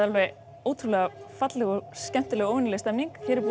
alveg ótrúlega falleg og skemmtileg og óvenjuleg stemning